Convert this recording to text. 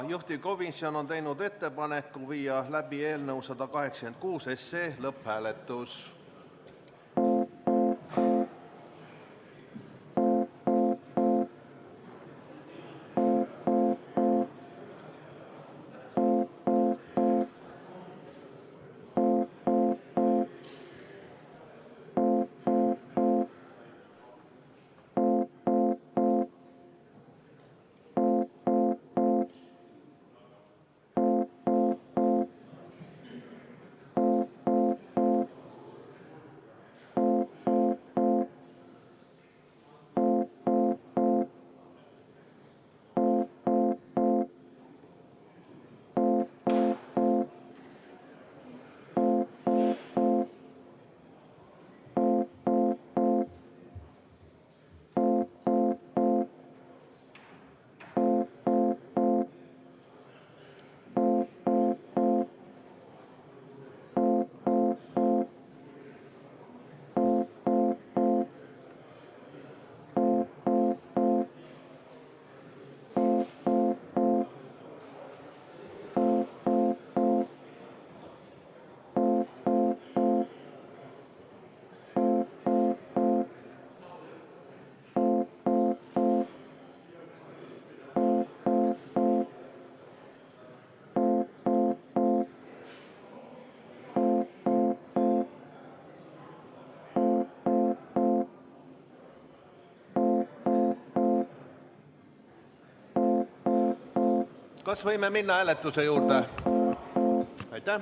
Juhtivkomisjon on teinud ettepaneku viia läbi eelnõu 186 lõpphääletus.